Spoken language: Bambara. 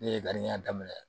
Ne ye daminɛ